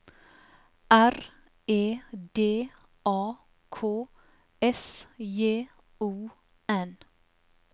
R E D A K S J O N